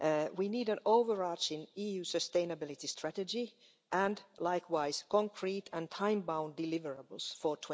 We need an overarching EU sustainability strategy and, likewise, concrete and time bound deliverables for